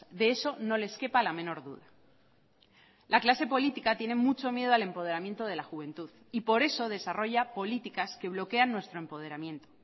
de eso no les quepa la menor duda la clase política tiene mucho miedo al empoderamiento de la juventud y por eso desarrolla políticas que bloquean nuestro empoderamiento